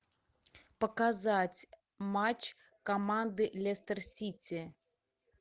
показать матч команды лестер сити